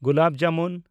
gulab jamun